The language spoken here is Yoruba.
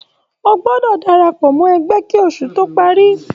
O gbọdọ darapọ mo ẹgbẹ kí oṣù to parí!